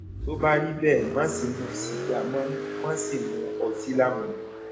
tó bá rí bẹẹ má ṣe mu sìgá mọ má sì mu ọtí lámujù